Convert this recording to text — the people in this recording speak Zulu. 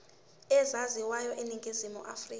ezaziwayo eningizimu afrika